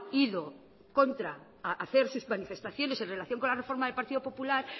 ido contra a hacer sus manifestaciones en relación con la reforma del partido popular